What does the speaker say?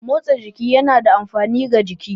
Motsa jiki yana da amfani ga jiki.